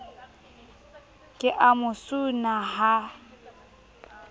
ke a mo suna ha